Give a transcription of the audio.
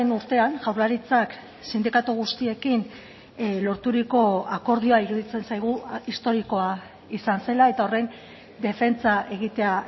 urtean jaurlaritzak sindikatu guztiekin lorturiko akordioa iruditzen zaigu historikoa izan zela eta horren defentsa egitea